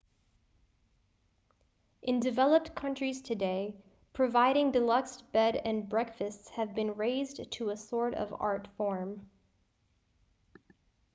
in developed countries today providing deluxe bed and breakfasts has been raised to a sort of art-form